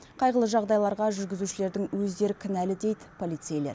қайғылы жағдайларға жүргізушілердің өздері кінәлі дейді полицейлер